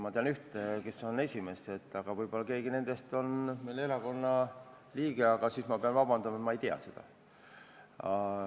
Ma tean ühte, kes on esimees, aga võib-olla ka keegi teistest on meie erakonna liige, aga siis ma pean vabandust paluma, et ma ei tea seda.